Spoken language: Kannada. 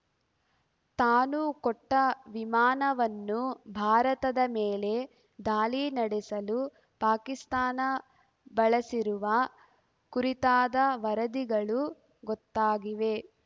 ತಾನು ಕೊಟ್ಟವಿಮಾನವನ್ನು ಭಾರತದ ಮೇಲೆ ದಾಳಿ ನಡೆಸಲು ಪಾಕಿಸ್ತಾನ ಬಳಸಿರುವ ಕುರಿತಾದ ವರದಿಗಳು ಗೊತ್ತಾಗಿವೆ